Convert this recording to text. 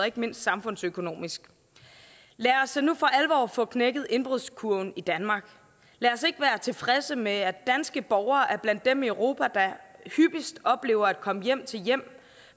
ikke mindst samfundsøkonomisk lad os nu for alvor få knækket indbrudskurven i danmark lad os ikke være tilfredse med at danske borgere er blandt dem i europa der hyppigst oplever at komme hjem til hjem